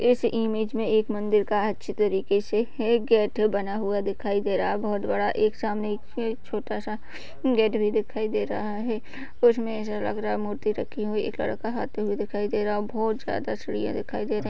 इस इमेज मे एक मंदिर का अच्छी तरीके से एक बना हुआ दिखाई दे रहा है बहुत बड़ा एक सामने एक छोटा सा गडेरी दिखाई दे रहा है उसमे ऐसा लग रहा है मूर्ति रखी हुई एक लड़की आते हुए दिखाई दे रहा हैं और बहोत ज्यादा सीढ़िया दिखाई दे--